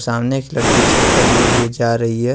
सामने एक लड़की छाता लिए हुए जा रही है।